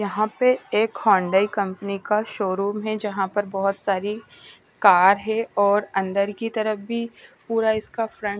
यहाँ पर एक हौंडाई कंपनी का शोरूम है यहाँ पर बहुत सारी कार हैं और अंदर की तरफ भी पूरा इसका फ्रंट --